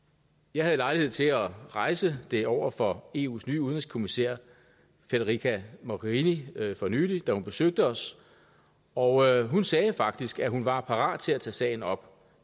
jeg havde lejlighed til at rejse det over for eus nye udenrigskommissær federica mogherini for nylig da hun besøgte os og hun sagde faktisk at hun var parat til at tage sagen op